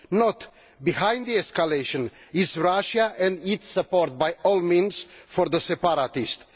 No, behind the escalation is Russia, and its support by all means for the separatists.